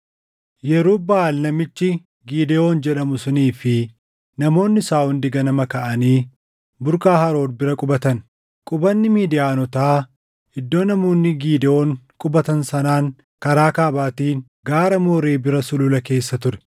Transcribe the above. Yerub-Baʼaal namichi Gidewoon jedhamu sunii fi namoonni isaa hundi ganama kaʼanii burqaa Harood bira qubatan. Qubanni Midiyaanotaa iddoo namoonni Gidewoon qubatan sanaan karaa kaabaatiin gaara Mooree bira sulula keessa ture.